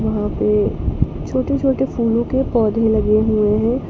वहां पे छोटे छोटे फूलों के पौधे लगे हुए हैं।